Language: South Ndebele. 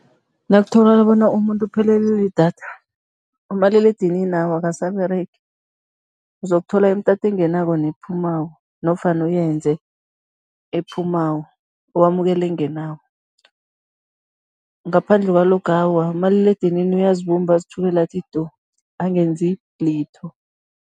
Nakutholakala bona umuntu uphelelwa lidatha, umaliledinini awa akasaberegi, uzokuthola imitato engenako nephumako nofana uyenze ephumako, wamukele engenako, ngaphandle kwaloko awa, umaliledinini uyazibumba, azithulele athu du, angenzi litho.